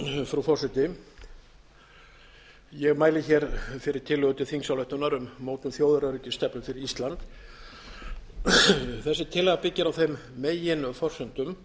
frú forseti ég mæli hér fyrir tillögu til þingsályktunar um mótun þjóðaröryggisstefnu fyrir ísland þessi tillaga byggir á þeim meginforsendum